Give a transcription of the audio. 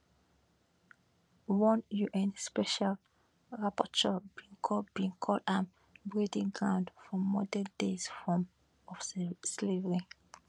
one un special rapporteur bin call bin call am breeding ground for modern day forms of slavery